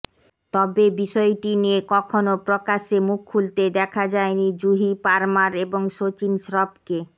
তবে বিষয়টি নিয়ে কখনও প্রকাশ্যে মুখ খুলতে দেখা যায়নি জুহি পারমার এবং সচিন শ্রফকে